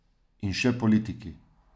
In še politiki.